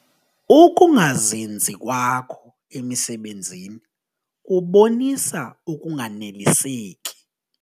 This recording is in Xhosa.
Uukungazinzi kwakho emisebenzini kubonisa ukunganeliseki.